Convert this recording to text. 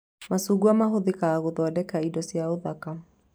Macungwa mahũthĩkaga gũthondeka indo cia ũthaka